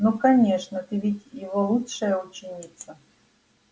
ну конечно ты ведь его лучшая ученица